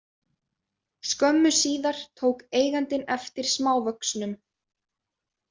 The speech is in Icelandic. Skömmu síðar tók eigandinn eftir smávöxnum.